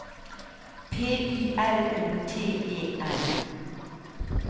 P I L O T E N